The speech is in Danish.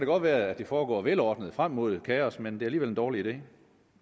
godt være at det foregår velordnet frem mod kaos men det er alligevel en dårlig idé